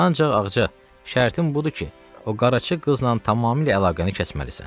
Ancaq Ağca, şərtim budur ki, o Qaracı qızla tamamilə əlaqəni kəsməlisən.